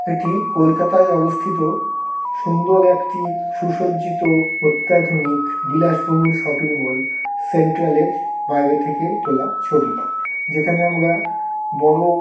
এটি কোলকাতা য় অবস্থিত সুন্দর একটি সুসজ্জিত অত্যাধুনিক বিলাস বহুল শপিংমল । সেন্ট্রালের বাইরে থেকে তোলা ছবি। যেখানে আমগা বড়--